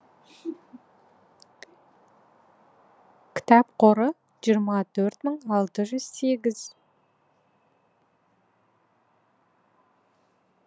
кітап қоры жиырма төрт мың алты жүз сегіз